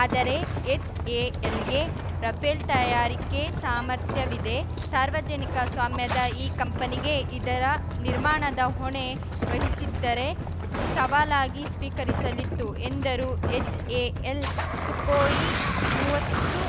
ಆದರೆ ಎಚ್‌ಎಎಲ್‌ಗೆ ರಫೇಲ್‌ ತಯಾರಿಕೆ ಸಾಮರ್ಥ್ಯವಿದೆ ಸಾರ್ವಜನಿಕ ಸ್ವಾಮ್ಯದ ಈ ಕಂಪನಿಗೆ ಇದರ ನಿರ್ಮಾಣದ ಹೊಣೆ ವಹಿಸಿದ್ದರೆ ಸವಾಲಾಗಿ ಸ್ವೀಕರಿಸಲಿತ್ತು ಎಂದರು ಎಚ್‌ಎಎಲ್‌ ಸುಖೋಯಿಮುವತ್ತು